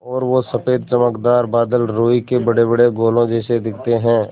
और वो सफ़ेद चमकदार बादल रूई के बड़ेबड़े गोलों जैसे दिखते हैं